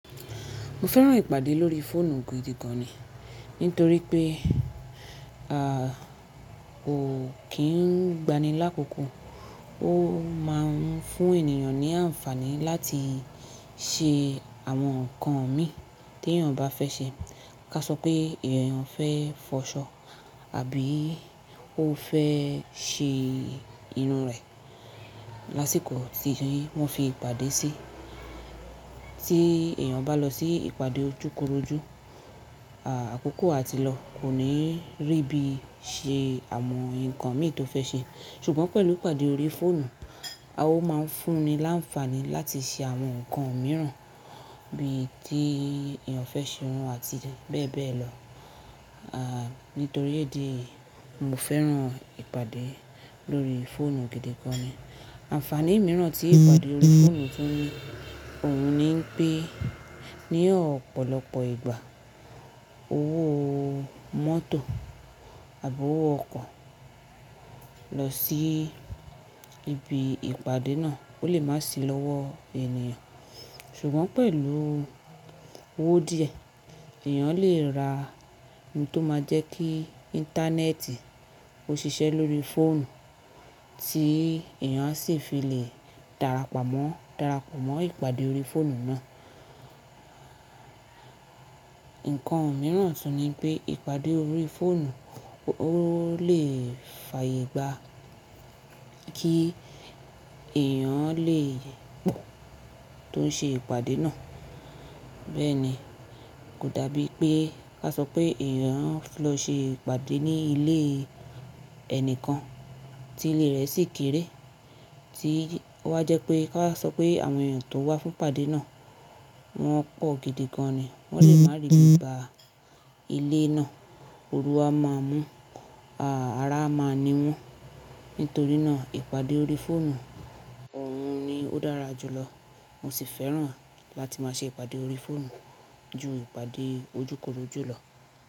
Mo fẹ́ràn ìpàdé lórí fóònù gidi gan ni, nítorí pé à ko kín n gbani lákòókò, o máà ń fún ènìyàn ní ànfàní láti ṣe àwọn nǹkan mi tí èèyàn bá fẹ́ ṣe. Ka sọ pé èèyàn fẹ́ fọṣọ àbí ó fẹ́ ṣe irun rẹ̀ lásìkò ti wón fi ìpàdé sí. Tí èèyàn bá lọ sí ìpàdé ojúkorojú, àkókò a ti lọ kò ní rí bí i ṣe àwọn nǹkan mi tó fẹ́ ṣe. Ṣùgbọ́n pẹ̀lú ìpàdé lórí fóònù ó má ń fún ni láǹfààní láti ṣe àwọn nǹkan mìíràn bí i tí èèyàn fẹ́ ṣe irun àti bẹ́ẹ̀ bẹ́ẹ̀ lọ. À nítorí idi èyí mo fẹ́ràn ìpàdé lórí fóònù gidi gan ni. Ànfàní mìíràn tí ìpàdé lórí fóònù tún ni òun ni pé ní ọ̀pọ̀lọpọ̀ ìgbà owó mọ́tò àbí owó ọkò lọ sí ibi ìpàdé náà ó lè má sì lọ́wọ́ èèyàn. Ṣùgbọ́n pẹ̀lú owó díẹ̀ èèyàn lè ra ohun tó máa jẹ́ kí íńtánẹ́ẹ̀tì ó ṣiṣẹ́ lórí fóònù tí èèyàn sì fi lè darapọ̀ mọ́, darapọ̀ mọ́ ìpàdé lórí fóònù náà. Nǹkan mìíràn tún ni pé ìpàdé lórí fóònù ó lè fàyègba kí èèyàn lè po tó ń ṣe ìpàdé náà. Bẹ́ẹ̀ni, kò dabi pé ká sọ pé èèyàn fẹ́ lọ ṣe ìpàdé ní ilé ẹni kan tí ilé rẹ̀ sì kéré tí o wá jẹ́ pé ká wa sọ pé àwọn èèyàn tó wá fún ìpàdé náà wọ́n pọ̀ gidi gan ni, wọ́n lè má rí ibi bá ilé náà. Ooru a máa mú, àra a máa ni wọ́n. Nítorí náà ìpàdé lórí fóònù òun ni ó dára jùlọ. Mo sì fẹ́ràn láti máa ṣe ìpàdé lórí fóònù ju ìpàdé ojúkorojú lọ.